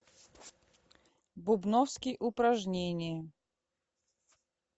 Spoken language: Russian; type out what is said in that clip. бубновский упражнения